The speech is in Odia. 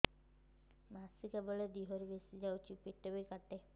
ମାସିକା ବେଳେ ଦିହରୁ ବେଶି ଯାଉଛି ପେଟ ବି କାଟେ